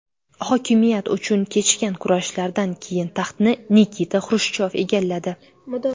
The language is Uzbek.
Hokimiyat uchun kechgan kurashlardan keyin taxtni Nikita Xrushchyov egalladi.